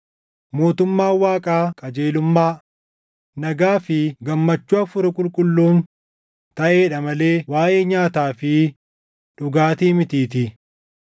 Mootummaan Waaqaa qajeelummaa, nagaa fi gammachuu Hafuura Qulqulluun taʼeedha malee waaʼee nyaataa fi dhugaatii mitiitii.